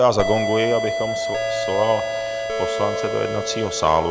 Já zagonguji, abych svolal poslance do jednacího sálu.